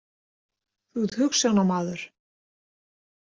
Þú ert hugsjónamaður.